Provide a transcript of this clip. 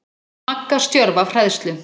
Magga stjörf af hræðslu.